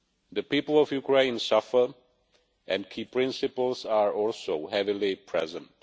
The people of Ukraine suffer, and key principles are also heavily present.